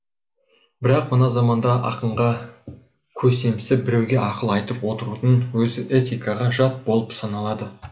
бірақ мына заманда ақынға көсемсіп біреуге ақыл айтып отырудың өзі этикаға жат болып саналады